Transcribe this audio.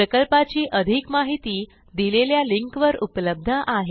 प्रकल्पाची अधिक माहिती दिलेल्या लिंकवर उपलब्ध आहे